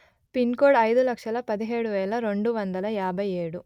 pin code అయిదు లక్షలు పదిహేడు వేల రెండు వందలు యాభై ఏడు